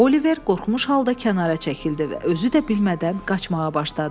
Oliver qorxmuş halda kənara çəkildi və özü də bilmədən qaçmağa başladı.